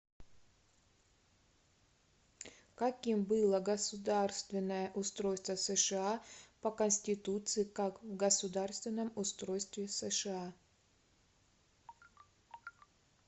каким было государственное устройство сша по конституции как в государственном устройстве сша